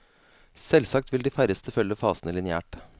Selvsagt vil de færreste følge fasene lineært.